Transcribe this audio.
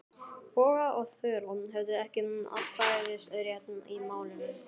Bogga og Þura höfðu ekki atkvæðisrétt í málinu.